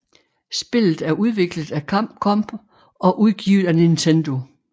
Spillet er udviklet af Capcom og udgivet af Nintendo